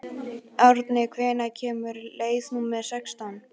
Árni, hvenær kemur leið númer sextán?